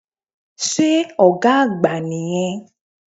Sé Ògá àgbà nì yẹn